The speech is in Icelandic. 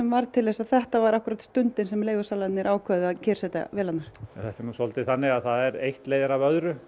varð til þess að þetta var akkúrat stundin sem leigusalarnir ákváðu að kyrrsetja vélarnar þetta er nú svolítið þannig að eitt leiðir af öðru